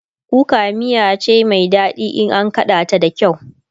kuka miya cai Mai daɗi in an kaɗa ta da kyau